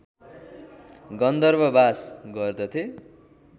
गन्धर्व वास गर्दथे